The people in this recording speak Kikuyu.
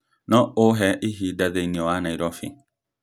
no ũhe ihinda thĩinĩ wa Nairobi?